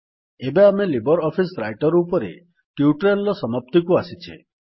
ଏବେ ଆମେ Libre Office Writer ଉପରେ ଟ୍ୟୁଟୋରିଆଲ୍ ର ସମାପ୍ତିକୁ ଆସିଛେ